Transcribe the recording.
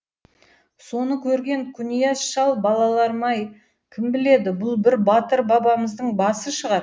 соны көрген құнияз шал балаларым ай кім біледі бұл бір батыр бабамыздың басы шығар